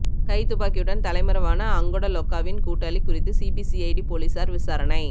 கைத்துப்பாக்கியுடன் தலைமறைவான அங்கொட லொக்காவின் கூட்டாளி குறித்து சிபிசிஐடி போலீஸாா் விசாரணை